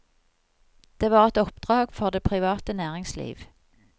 Det var et oppdrag for det private næringsliv.